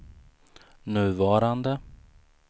nuvarande